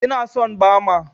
Ina son Bama.